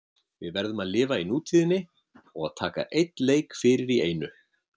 Við verðum að lifa í nútíðinni og taka einn leik fyrir í einu.